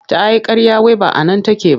Ta yi ƙarya wai ba a nan take ba.